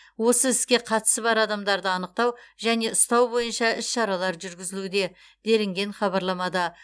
осы іске қатысы бар адамдарды анықтау және ұстау бойынша іс шаралар жүргізілуде делінген хабарламада